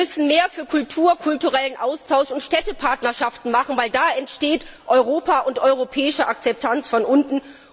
Wir müssen mehr für Kultur, den kulturellen Austausch und Städtepartnerschaften machen, weil da entsteht Europa und europäische Akzeptanz von unten.